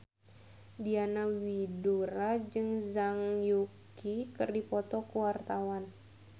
Diana Widoera jeung Zhang Yuqi keur dipoto ku wartawan